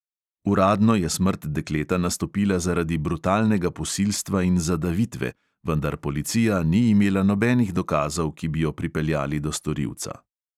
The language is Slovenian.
Uradno je smrt dekleta nastopila zaradi brutalnega posilstva in zadavitve, vendar policija ni imela nobenih dokazov, ki bi jo pripeljali do storilca.